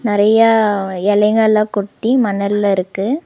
நறையா எலைங்கலா கொட்டி மணல்ல இருக்கு.